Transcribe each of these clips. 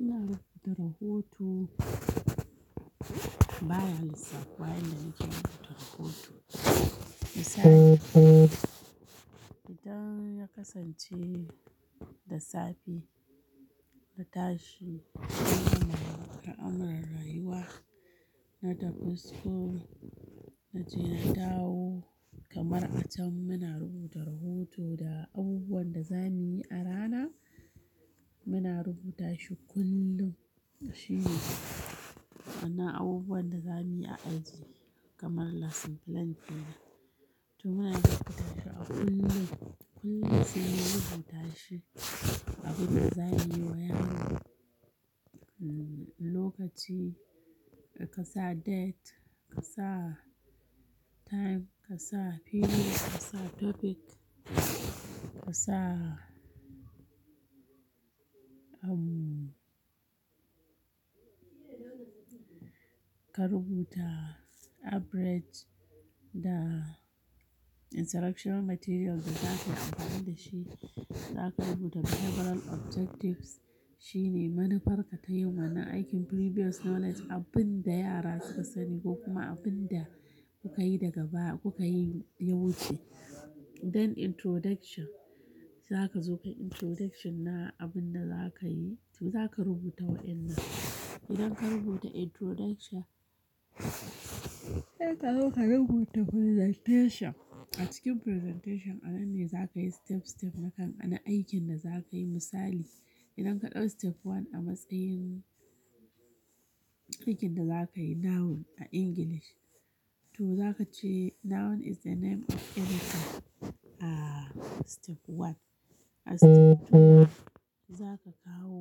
Muna rubuta rahoto, baya lissafuwa yanda muke rubuta rahoto. Misali, idan ya kasance da safe na tashi, ana rayuwa na tafi school na je na dawo. Kamar a can muna rubuta rahoto da abubuwan da za mu yi a rana, muna rubuta shi kullum. Shi ne, wa'yannan abubuwan da za mu yi a aji kamar lesson plan kenan, to muna iya rubuta shi a kullum. Kullum sai mun rubuta shi abin da za mu yi wa yaro. Lokaci ka sa date, ka sa time, ka sa period, ka sa topic, ka sa ka rubuta average da instruction material da za kayi amfana da shi. Za ka rubuta behavioral objectives shine manufarka ta yin wannan aikin previous knowledge, abin da yara suka sani ko kuma abin da kuka yi daga baya kuka yi ya wuce. Dan introduction za ka zo ka yi introduction na abin da za ka yi, to za ka rubuta wa'yannan. Idan ka rubuta introduction, sai ka zo ka rubuta presentation. A cikin presentation a nan ne za ka yi step-step na aikin da za ka yi misali. Idan ka ɗau step one a matsayin aikin da za ka yi noun a English, to za ka ce noun is the name of anything a step one. A step two za ka kawo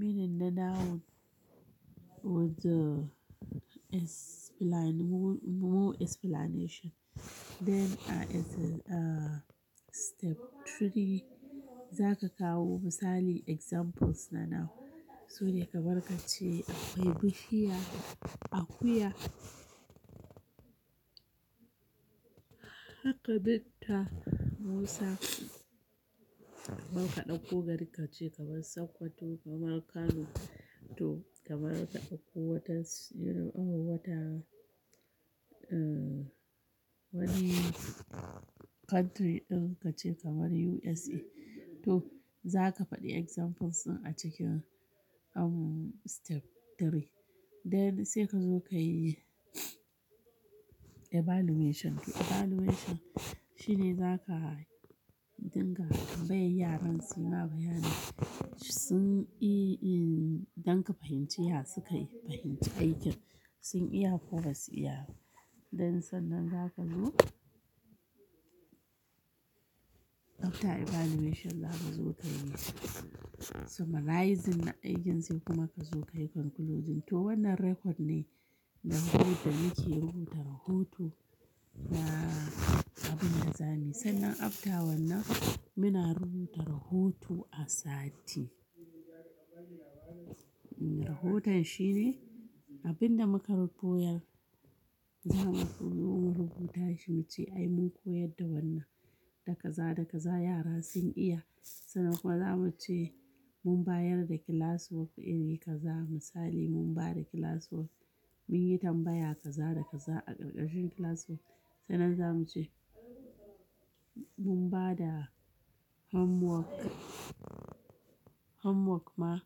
meaning na noun with the explain-- more explanation. Kamar step three zaka kawo examples na noun sune kamar kace akwai bishiya, akuya haka doctor Musa zaka dauko gari kace kamar sokoto kamar Kano, toh kamar ka dakko wani factory din kace kamar USA toh zaki fadi examples din a cikin step three then sai kazo kayi evaluation evaluation shine zaka dinga tambayar yaran su ma bayani don ka fahimci ya suka fahimci aikin sun iya ko basu iya ba Then sannan za ka zo After evaluation zaka zo kayi summarising aikin sai kuma kazo kayi concluding toh wannan record ne na yarda muke rubuta rahoto na abinda zamuyi sannan after wannan muna rubuta rahoto a sati rahoton shine abinda muka koyar zamu rubu tashi muce ai mun koyar da wnn, da kaza-kaza yara sun iya sannan kuma zamuce mun bayar da classwork din na kaza, misali mun bada classwork munyi tambaya kaza da kaza a ƙarƙashin classwork sannan zamu ce mun bada homework, homework ma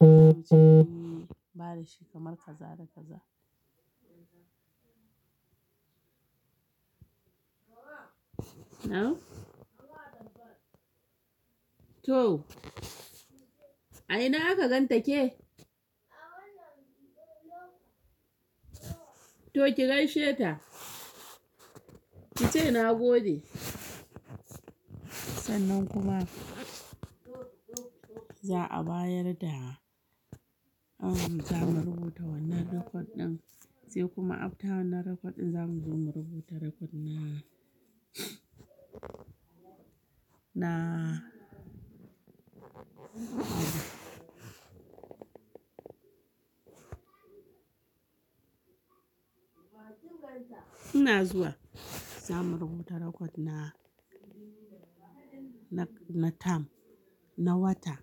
zamuce mun bada shi kamar kaza da kaza a ina aka ganta ke? To ki gaishe ta, ki ce na gode. Sannan kuma za'a bayar da, zamu rubuta wannan record din sai kuma after wannan record din zamu zo mu rubuta record na ina zuwa, zamu rubuta record na na term, na wata.